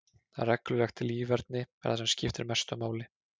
Reglulegt líferni er það sem skiptir mestu máli.